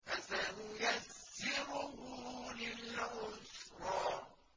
فَسَنُيَسِّرُهُ لِلْعُسْرَىٰ